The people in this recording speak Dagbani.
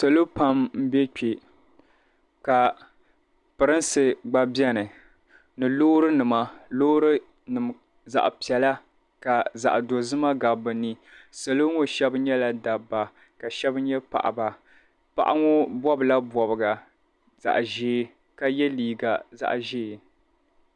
salo pam m-be kpe ka pirinsi gba beni ni loori nima zaɣ' piɛla ka zaɣ' dozima gabi bɛ ni salo ŋɔ shɛba nyɛla dabba ka shɛba nyɛ paɣaba paɣa ŋɔ bɔbi la bɔbiga ka ye liiga zaɣ' ʒee.